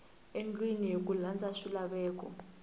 endliwile hi ku landza swilaveko